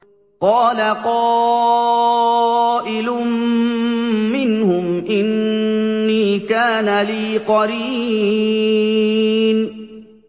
قَالَ قَائِلٌ مِّنْهُمْ إِنِّي كَانَ لِي قَرِينٌ